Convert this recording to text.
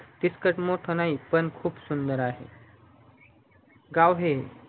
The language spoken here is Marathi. तिथकच मोठ नाही पण खूप सुंदर आहे गाव हे